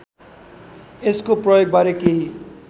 यसको प्रयोगबारे केही